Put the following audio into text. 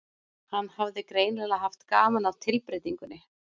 Hann hafði greinilega haft gaman af tilbreytingunni.